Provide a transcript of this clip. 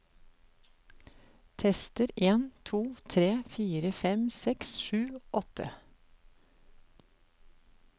Tester en to tre fire fem seks sju åtte